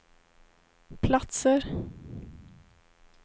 platser